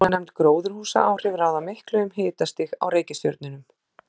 Svonefnd gróðurhúsaáhrif ráða miklu um hitastig á reikistjörnunum.